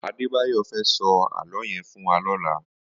Adebayo fè sò àlõ yèn fún wà lòlá